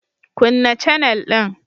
Kunna canel din.